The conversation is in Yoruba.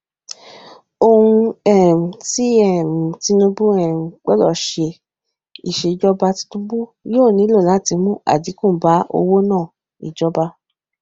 ohun um ti um tinubu um gbọdọ ṣe iṣejọba tinubu yoo nilo lati mu adinku ba owonaa ijọba